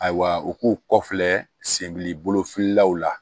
Ayiwa u k'u kɔfɛ senbilofililaw la